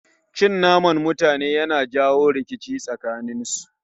Cin naman mutane Yana janyo rikici tsakanen su